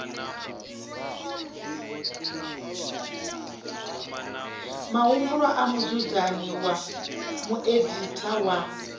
mahumbulwa a mudzudzanyi mueditha wa